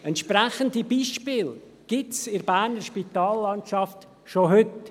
Entsprechende Beispiele gibt es in der Berner Spitallandschaft schon heute.